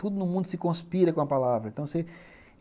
Tudo no mundo se conspira com a palavra. Então, você